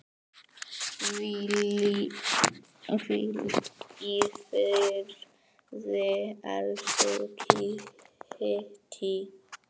Hvíl í friði, elsku Kittý.